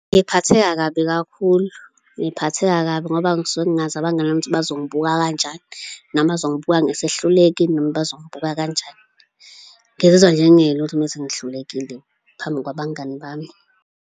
Ngiphatheka kabi kakhulu, ngiphatheka kabi ngoba ngisuke ngingazi abangani bami bazongibuka kanjani noma bazongibuka ngesehluleki noma bazongibuka kanjani. Ngizizwa nje ngingelutho uma sengihlulekile phambi kwabangani bami.